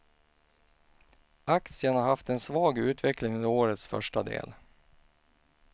Aktien har haft en svag utveckling under årets första del.